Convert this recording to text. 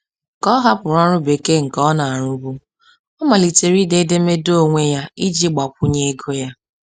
Ka ọ hapụrụ ọrụ bekee nke ọ na-arụbu, ọ malitere ide edemede onwe ya iji gbakwunye ego ya.